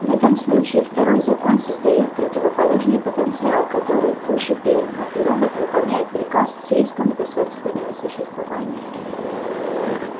в этом случае второй закон создаёт противоположный потенциал который выше первого и робот выполняет приказ с риском для собственного существования